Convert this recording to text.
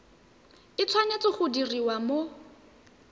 e tshwanetse go diriwa mo